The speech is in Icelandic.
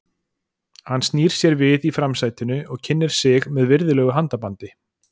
Hann snýr sér við í framsætinu og kynnir sig með virðulegu handabandi.